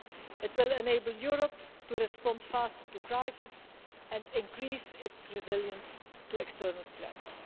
It will enable Europe to respond faster to crises and increase its resilience to external threats.